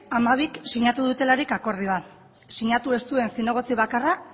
hamabik sinatu dutelarik akordioa sinatu ez duen zinegotzi bakarra